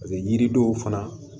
yiri dɔw fana